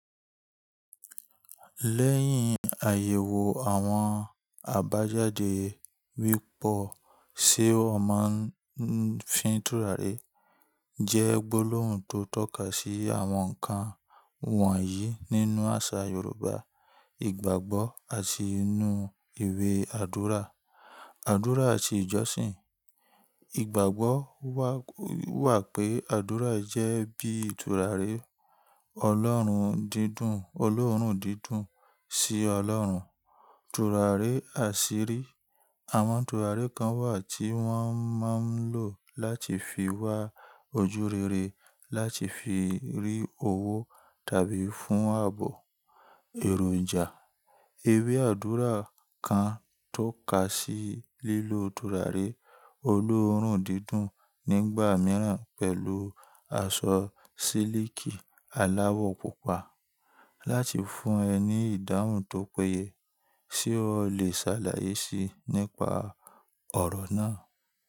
Lẹ́yìn àyẹ̀wò àwọn àbájáde wípọ̀, ṣe ó máa ń fi tùràrí jẹ́ gbólóhùn tó tọ́ka sí àwọn ǹkan wọ̀nyí nínú àṣà Yorùbá: ìgbàgbọ́ àti inú ìwé àdúrà, àdúrà àti ìjọsìn. Ìgbàgbọ́ wà pé àdúrà jẹ́ bí turari Ọlọ́run dídùn, olóòórùn dídùn sí Ọlọ́run. Tùràrí àṣírí, àwọn tùràrí kan wà tí wọ́n máa ń lò láti fi wá ojú rere, láti fi rí owó tàbí fún ààbò èròjà. Ìwé àdúrà kan tó ka sí lílo tùràrí olóòórùn dídùn nígbà mìíràn pẹ̀lú aṣọ sílíkì aláwọ̀ pupa láti fún ẹ ní ìdáhùn tó péye. Ṣé o lè ṣàlàyé si nípa ọ̀rọ̀ náà?